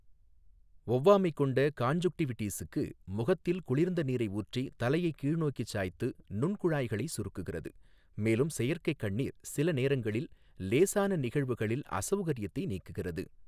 ஒவ்வாமை கொண்ட கான்ஜுன்க்டிவிடிஸுக்கு, முகத்தில் குளிர்ந்த நீரை ஊற்றி, தலையை கீழ்நோக்கி சாய்த்து, நுண்குழாய்களை சுருக்குகிறது, மேலும் செயற்கை கண்ணீர் சில நேரங்களில் லேசான நிகழ்வுகளில் அசௌகரியத்தை நீக்குகிறது.